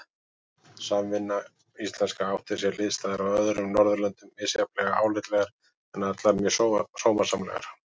Samvinnan íslenska átti sér hliðstæður á öðrum Norðurlöndum, misjafnlega álitlegar, en allar mjög sómasamlegar.